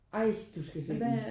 Ej du skal se den